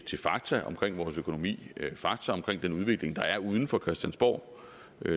til fakta om vores økonomi fakta om den udvikling der er uden for christiansborg